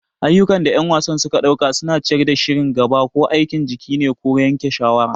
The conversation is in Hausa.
Ayyukan da ƴan wasa suka ɗauka suna ciyar da shirin gaba. Ko aikin jiki ne ko yanke shawara.